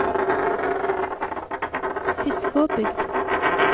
Fiskåbygd